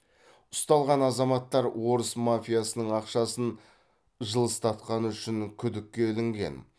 ұсталған азаматтар орыс мафиясының ақшасын жылыстатқаны үшін күдікке ілінген